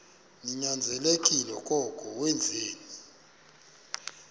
ninyanzelekile koko wenzeni